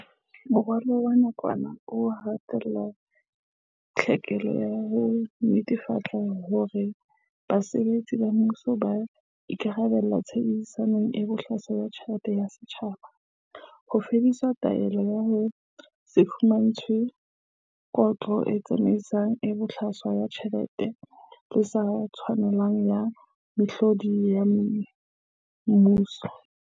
Moralo wa nakwana o ha tella tlhokeho ya ho netefatsa hore basebetsi ba mmuso ba ikarabella tshebedisong e bohlaswa ya ditjhelete tsa setjhaba, ho fedisa tlwaelo ya ho se fumantshwe kotlo tsamaisong e bohlaswa ya ditjhelete le e sa tshwanelang ya mehlodi ya mmuso.